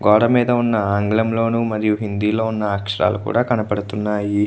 గోడ మీదున్న ఆంగ్లం లోను మరియు హిందీ లో ఉన్న అక్షరాలు కూడా కనబడుతున్నాయి.